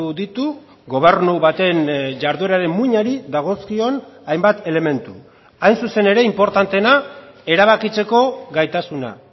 ditu gobernu baten jardueraren muinari dagozkion hainbat elementu hain zuzen ere inportanteena erabakitzeko gaitasuna